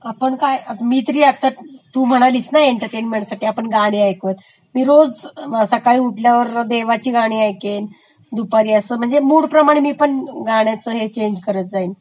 आपण आता..मी तरी आता तू म्हणालिस ना की एन्टर्मेन्मेंटसाठी गाणी ऐकूयात. मी रोज सकाळ उठल्यावर देवाची गाणी ऐकेन, दुपारी असं म्हणजे मूडप्रमाणे मी पण असं गाण्याच हे चेंज करत जाईन.